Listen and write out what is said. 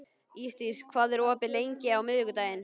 Ísdís, hvað er opið lengi á miðvikudaginn?